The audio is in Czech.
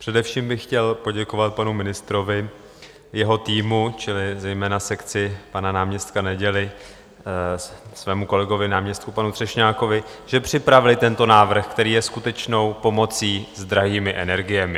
Především bych chtěl poděkovat panu ministrovi, jeho týmu čili zejména sekci pana náměstka Neděly, svému kolegovi, náměstku panu Třešňákovi, že připravili tento návrh, který je skutečnou pomocí s drahými energiemi.